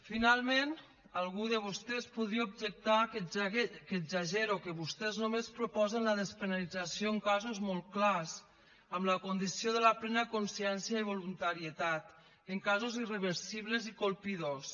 finalment algú de vostès podria objectar que exagero que vostès només proposen la despenalització en casos molt clars amb la condició de la plena consciència i voluntarietat en casos irreversibles i colpidors